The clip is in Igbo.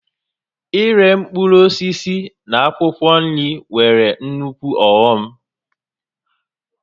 Íré mkpụrụ osisi na akwụkwọ nri nwere nukwu ọghọm